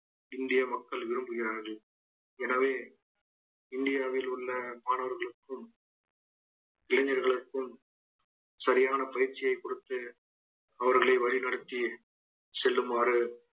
இந்திய மக்கள் விரும்புகிறார்கள் எனவே இந்தியாவில் உள்ள மாணவர்களுக்கும் இளைஞர்களுக்கும் சரியான பயிற்சியை கொடுத்து அவர்களை வழி நடத்தி செல்லுமாறு